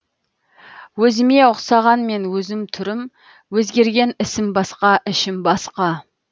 өзіме ұқсағанмен өзім түрім өзгерген ісім басқа ішім басқа